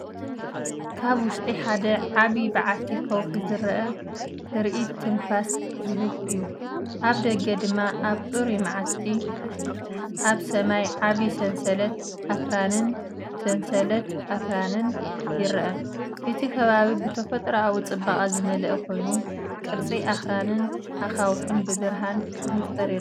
ካብ ውሽጢ ሓደ ዓቢ በዓቲ ከውሒ ዝረአ ትርኢት ትንፋስ ዝህብ እዩ። ኣብ ደገ ድማ ኣብ ጽሩይ መዓልቲ ኣብ ሰማይ ዓቢ ሰንሰለት ኣኽራንን ሰንሰለት ኣኽራንን ይርአ። እቲ ከባቢ ብተፈጥሮኣዊ ጽባቐ ዝመልአ ኮይኑ፡ ቅርጺ ኣኽራንን ኣኻውሕን ብብርሃን ብንጹር ይርአ።